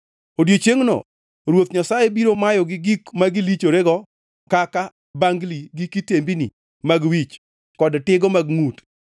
Odiechiengʼno Ruoth Nyasaye biro mayogi gik ma gilichorego kaka: bangli gi kitembini mag wich kod tigo mag ngʼut,